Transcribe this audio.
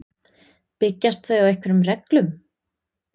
Byggjast þau á einhverjum reglum?